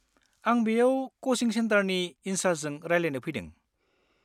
आं बेयाव क'चिं सेन्टारनि इन सार्सजों रायलायनो फैदों।